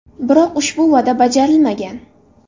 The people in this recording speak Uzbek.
Biroq ushbu va’da bajarilmagan.